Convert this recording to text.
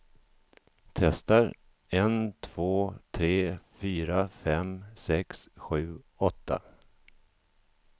Testar en två tre fyra fem sex sju åtta.